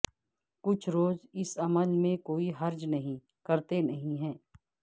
کچھ زور اس عمل میں کوئی حرج نہیں کرتے نہیں ہے